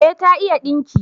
Eh, ta iya dinki